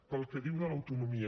pel que diu de l’autonomia